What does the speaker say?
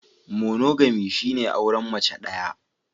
Monogamy shine auren mace daya.